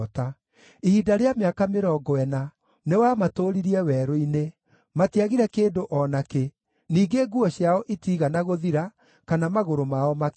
Ihinda rĩa mĩaka mĩrongo ĩna nĩwamatũũririe werũ-inĩ; matiagire kĩndũ o nakĩ, ningĩ nguo ciao itiigana gũthira, kana magũrũ mao makĩimba.